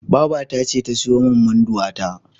Babata ce ta siyo min Munduwa ta.